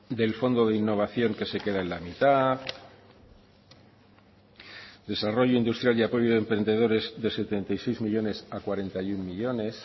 del fondo de innovación que se queda en la mitad desarrollo industrial y apoyo a emprendedores de setenta y seis millónes a cuarenta y uno millónes